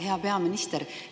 Hea peaminister!